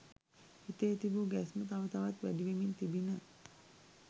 හිතේ තිබූ ගැස්ම තව තවත් වැඩිවෙමින් තිබිණ.